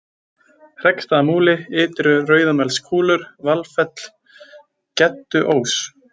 Heggsstaðamúli, Ytri-Rauðamelskúlur, Valfell, Gedduós